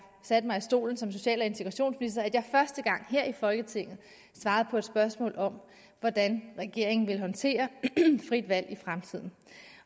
satte mig i stolen som social og integrationsminister at jeg første gang her i folketinget svarede på et spørgsmål om hvordan regeringen ville håndtere frit valg i fremtiden